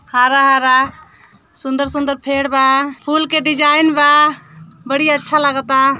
हरा-हरा सुन्दर-सुंदर फेड़ बा। फूल के डिजाइन बा। बढ़िया अच्छा लागत बा।